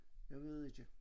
Jeg ved ikke